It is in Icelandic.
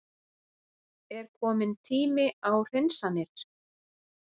Er kominn tími á hreinsanir?